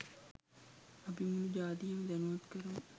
අපි මුලු ජාතියම දැනුවත් කරමු